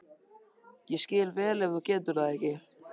Ég skil vel ef þú getur það ekki.